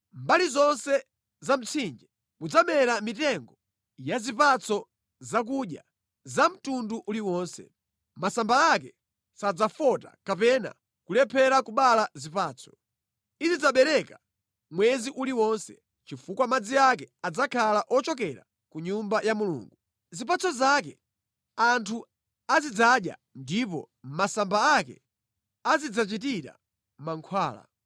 Mʼmbali zonse za mtsinje mudzamera mitengo ya zipatso zakudya za mtundu uliwonse. Masamba ake sadzafota kapena kulephera kubereka zipatso. Izidzabereka mwezi uliwonse, chifukwa madzi ake adzakhala ochokera ku Nyumba ya Mulungu. Zipatso zake anthu azidzadya ndipo masamba ake azidzachitira mankhwala.”